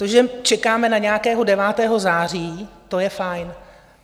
To, že čekáme na nějakého 9. září, to je fajn.